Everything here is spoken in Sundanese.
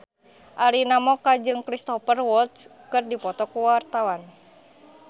Arina Mocca jeung Cristhoper Waltz keur dipoto ku wartawan